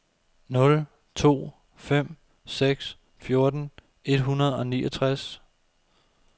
nul to fem seks fjorten et hundrede og niogtres